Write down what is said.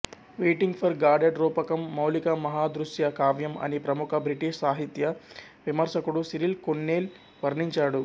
waiting for Godot రూపకం మౌలిక మహాదృశ్య కావ్యం అని ప్రముఖ బ్రిటిష్ సాహిత్య విమర్శికుడు సిరిల్ కొన్నేల్ వర్ణించాడు